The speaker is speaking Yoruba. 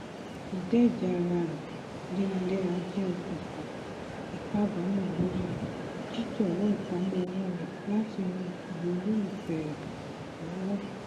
ìdẹjàá ara rẹ léraléra jẹ okùnfà ìkábàámọ lórí jíjọwọ ìpamọ owó rẹ láti ran àwọn olólùfẹ rẹ lọwọ